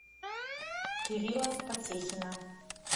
кирилла потехина